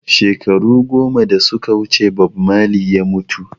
Shekaru goma da suka wuce Bob Marley ya mutu